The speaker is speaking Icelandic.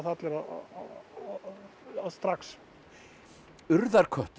allir strax urðarköttur